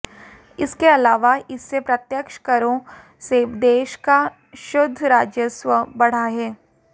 इसके अलावा इससे प्रत्यक्ष करों से देश का शुद्ध राजस्व बढ़ा है